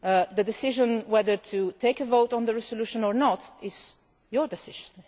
The decision whether to take a vote on the resolution or not is your decision